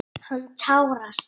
Hann tárast.